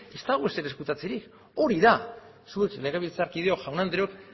ez dago ezer ezkutatzerik hori da zuek legebiltzarkideok jaun andreok